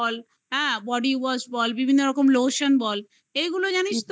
body wash ,বল বিভিন্ন রকম lotion বল, এইগুলো জানিস